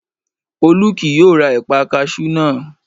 Olú kì yóò ra ẹ̀paa kaṣú náà